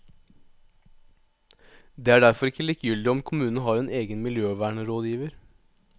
Det er derfor ikke likegyldig om kommunen har en egen miljøvernrådgiver.